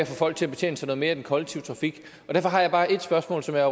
få folk til at betjene sig noget mere af den kollektive trafik derfor har jeg bare et spørgsmål som jeg